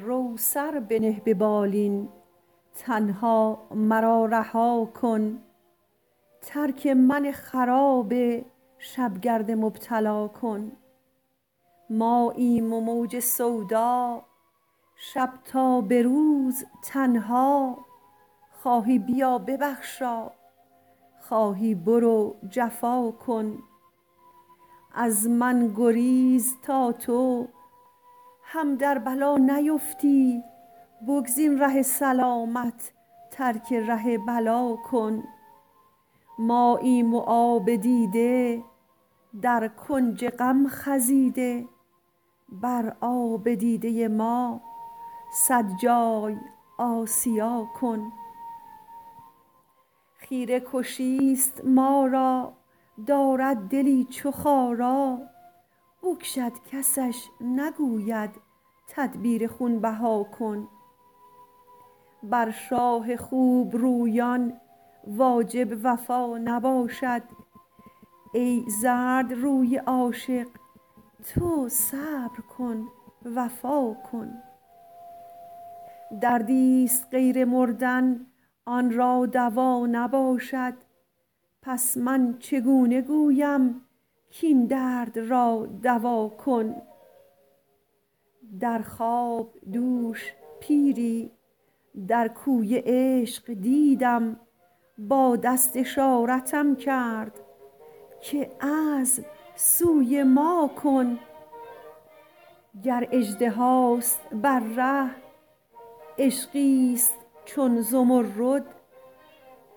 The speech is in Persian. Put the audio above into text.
رو سر بنه به بالین تنها مرا رها کن ترک من خراب شب گرد مبتلا کن ماییم و موج سودا شب تا به روز تنها خواهی بیا ببخشا خواهی برو جفا کن از من گریز تا تو هم در بلا نیفتی بگزین ره سلامت ترک ره بلا کن ماییم و آب دیده در کنج غم خزیده بر آب دیده ما صد جای آسیا کن خیره کشی ست ما را دارد دلی چو خارا بکشد کسش نگوید تدبیر خون بها کن بر شاه خوب رویان واجب وفا نباشد ای زردروی عاشق تو صبر کن وفا کن دردی ست غیر مردن آن را دوا نباشد پس من چگونه گویم کاین درد را دوا کن در خواب دوش پیری در کوی عشق دیدم با دست اشارتم کرد که عزم سوی ما کن گر اژدهاست بر ره عشقی ست چون زمرد